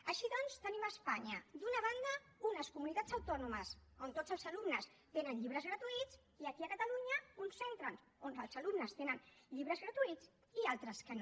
així doncs tenim a espanya d’una banda unes comunitats autònomes on tots els alumnes tenen llibres gratuïts i aquí a catalunya uns centres on els alumnes tenen llibres gratuïts i altres que no